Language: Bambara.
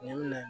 Ɲɛn minɛ